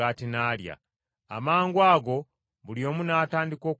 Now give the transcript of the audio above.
Amangwago buli omu n’atandika okulya ku mmere.